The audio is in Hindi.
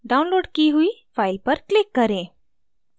downloaded की हुई फ़ाइल पर click करें